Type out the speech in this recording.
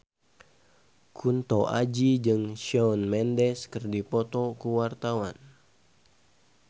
Kunto Aji jeung Shawn Mendes keur dipoto ku wartawan